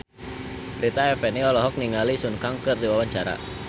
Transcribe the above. Rita Effendy olohok ningali Sun Kang keur diwawancara